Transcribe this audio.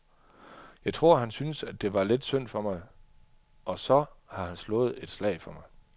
Jeg tror, han syntes, det var lidt synd for mig, og så har han slået et slag for mig .